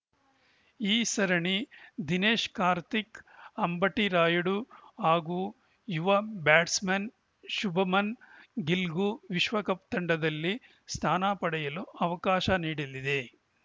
ಈ ಸರಣಿ ದಿನೇಶ್‌ ಕಾರ್ತಿಕ್‌ ಅಂಬಟಿ ರಾಯುಡು ಹಾಗೂ ಯುವ ಬ್ಯಾಟ್ಸ್‌ಮನ್‌ ಶುಭ್‌ಮನ್‌ ಗಿಲ್‌ಗೂ ವಿಶ್ವಕಪ್‌ ತಂಡದಲ್ಲಿ ಸ್ಥಾನ ಪಡೆಯಲು ಅವಕಾಶ ನೀಡಲಿದೆ